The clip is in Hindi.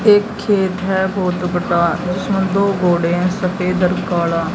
एक खेत है वह तो बता जिसमें दो घोड़े हैं सफेद और काला--